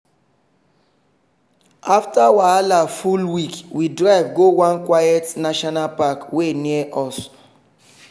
afta wahala full week we drive go one quiet national park wey near us.